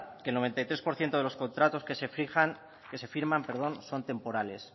que el noventa y tres por ciento de los contratos que se firman son temporales